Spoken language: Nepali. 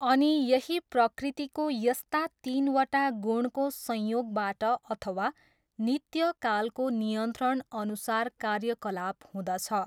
अनि यही प्रकृतिको यस्ता तिनवटा गुणको संयोगबाट अथवा नित्य कालको नियन्त्रणअनुसार कार्यकलाप हुदँछ।